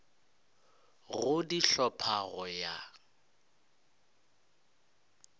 go di hlopha go ya